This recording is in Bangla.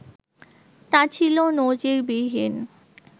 তা ছিল নজিরবিহীন